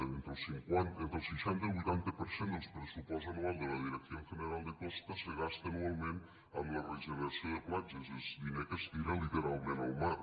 entre el seixanta i el vuitanta per cent del pressupost anual de la dirección general de costas se gasta anualment en la regeneració de platges és diner que es tira literalment al mar